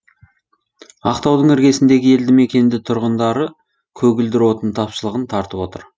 ақтаудың іргесіндегі елді мекенді тұрғындары көгілдір отын тапшылығын тартып отыр